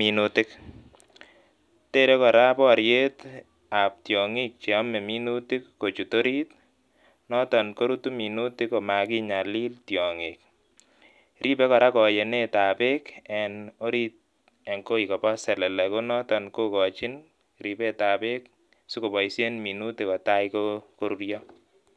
ribei kora akobo tyong'ik chebendoti eng oloo